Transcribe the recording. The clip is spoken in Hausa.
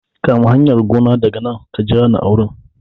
Kama hanyar gona daga nan ka jira ni a wurin